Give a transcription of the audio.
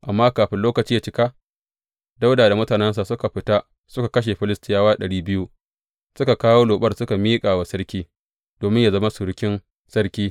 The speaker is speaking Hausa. Amma kafin lokacin yă cika, Dawuda da mutanensa suka fita suka kashe Filistiyawa ɗari biyu, suka kawo loɓar suka miƙa wa sarki, domin yă zama surukin sarki.